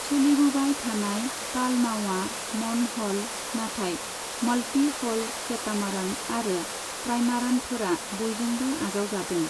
सोलिबोबाय थानाय पालनावआ मनहल, नाथाय मल्टि हल केटामारन आरो ट्राइमारानफोरा बयजोंबो आजावजादों।